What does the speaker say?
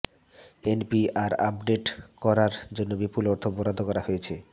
NPR update করার জন্য বিপুল অর্থ বরাদ্দ করা হয়েছে